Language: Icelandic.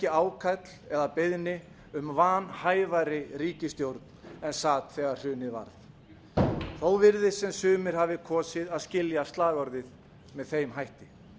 ákall eða beiðni um vanhæfari ríkisstjórn en sat þegar hrunið varð þó virðist sem sumir hafi kosið að skilja slagorðið með þeim hætti